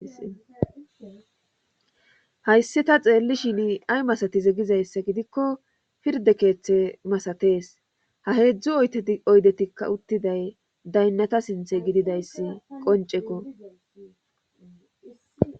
Hayssi ta xeellishin ay masatize gizayssa gidikko pirde keeththe masatees ha heedzdzu te oydetikka uttiday daynnata sinthe gididayssi qonceko.